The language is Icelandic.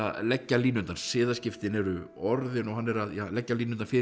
leggja línurnar siðaskiptin eru orðin og hann er að leggja línurnar fyrir